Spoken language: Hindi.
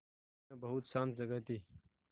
यह बहुत शान्त जगह थी